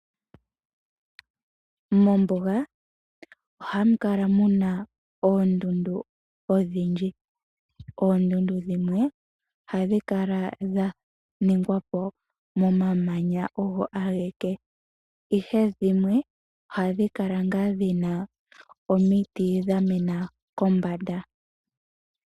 Mombuga ohamu kala muna oondundu odhindji , Oondundu dhimwe ohadhi kala dha ningwa po momamanya ogo ageke ihe dhimwe ohadhi kala ngaa dhina omiti dhamena kombanda.